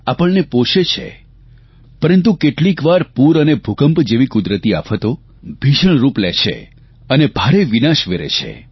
આપણને પોષે છે પરંતુ કેટલીક વાર પૂર અને ભૂકંપ જેવી કુદરતી આફતો ભીષણ રૂપ લે છે અને ભારે વિનાશ વેરે છે